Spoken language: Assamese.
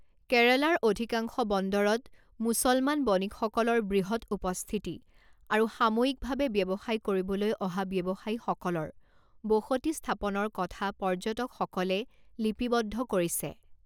কেৰালাৰ অধিকাংশ বন্দৰত মুছলমান বণিকসকলৰ বৃহৎ উপস্থিতি আৰু সাময়িকভাৱে ব্যৱসায় কৰিবলৈ অহা ব্যৱসায়ীসকলৰ বসতি স্থাপনৰ কথা পৰ্যটকসকলে লিপিবদ্ধ কৰিছে।